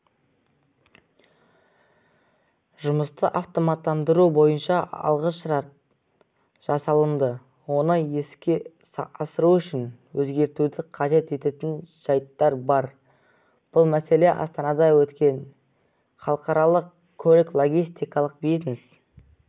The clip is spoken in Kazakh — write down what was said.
жұмысты автоматтандыру бойынша алғышарт жасалынды оны іске асыру үшін өзгертуді қажет ететін жайттар бар бұл мәселе астанада өткен халықаралық көлік-логистикалық бизнес